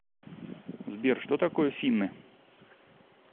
сбер что такое финны